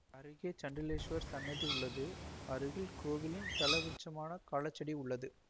அருகே சண்டிகேஸ்வரர் சன்னதி உள்ளது அருகில் கோவிலின் தலவிருட்சமான களாச்செடி உள்ளது